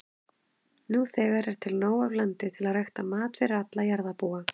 Nú þegar er til nóg af landi til að rækta mat fyrir alla jarðarbúa.